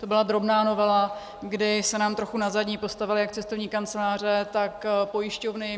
To byla drobná novela, kdy se nám trochu na zadní postavily jak cestovní kanceláře, tak pojišťovny.